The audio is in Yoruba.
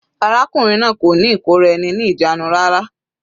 Arákùnrin náà kò ní ìkóra-eni-ní-ìjánu rárá.